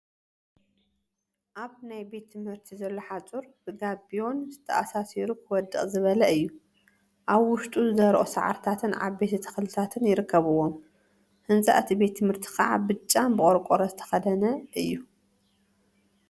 አብ ናይ ቤት ትምህርቲ ዘሎ ሓፁር ብጋቢዮን ተአሳሲሩ ክወድቅ ዝበለ እዩ፡፡ አብ ውሽጡ ዝደረቁ ሳዕሪታትን ዓበይቲ ተክልታትን ይርከቡዎም፡፡ ህንፃ እቲ ቤት ትምህርቲ ከዓ ብጫን ብቆርቆሮ ዝተከደነ እዩ፡፡